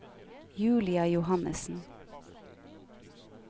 Julia Johannessen